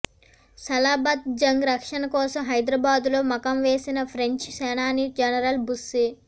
సలాబత్ జంగ్ రక్షణ కోసం హైదరాబాదులో మకాం వేసిన ఫ్రెంచి సేనాని జనరల్ బుస్సీ